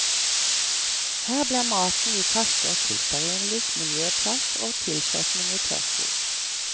Her blir maten vi kaster, til stearinlys, miljøplast og tilsetning i tørrfôr.